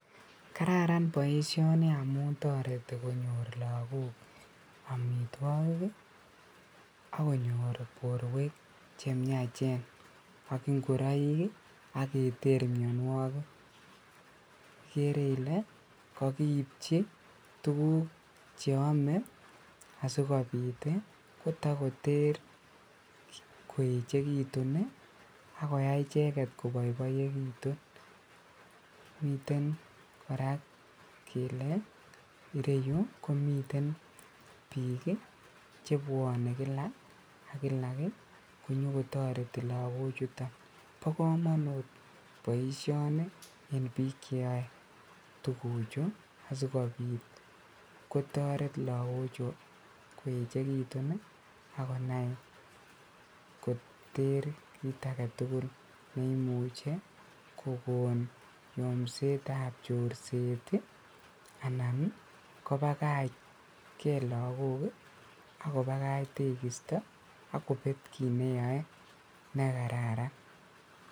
Kararan boisioni amun toreti konyor lagok omitwogik akonyor boruek chemiachen ak ingoroik ak keter mionuokik, ikere ile kokiipji tugul cheome ii asikobit kotokoter koechekitun ii ak koyai icheket koboiboitun, miten koraa kele ireyu komiten bik chebwonen kila ak kila konyokotoreti logochutok, bokomonut en bik cheo tuguchu asikobit kotoret lagochu koechekitun ak konai koter kit agetugul neimuche kogon yomsetab chorset ii anan kobakach kee lagok ii ak kobakach tegisto ak kobet kit neyoe nekararan.